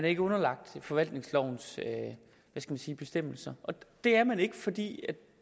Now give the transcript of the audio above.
ikke underlagt forvaltningslovens bestemmelser det er man ikke fordi